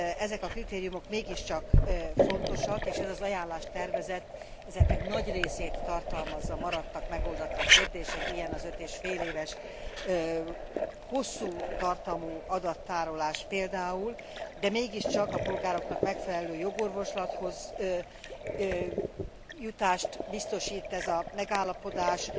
Ezek a kritériumok mégiscsak fontosak, és ez az ajánlástervezet ezeknek nagy részét tartalmazza. Maradtak megoldatlan kérdések, ilyen az 5 és fél éves hosszú tartamú adattárolás például, de mégiscsak a polgároknak megfelelő jogorvoslathoz jutást biztosít ez a megállapodás.